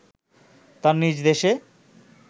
তার নিজ দেশে